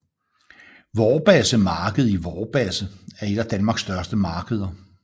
Vorbasse Marked i Vorbasse er et af Danmarks største markeder